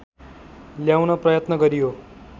ल्याउन प्रयत्न गरियो